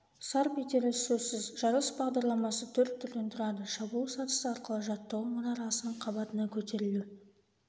сарп етері сөзсіз жарыс бағдарламасы төрт түрден тұрады шабуыл сатысы арқылы жаттығу мұнарасының қабатына көтерілу